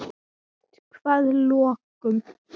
Eitthvað lokum?